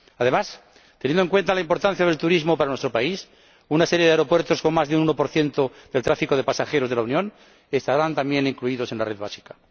Además, teniendo en cuenta la importancia del turismo para nuestro país, una serie de aeropuertos con más de un 1 del tráfico de pasajeros de la Unión estarán también incluidos en la red principal.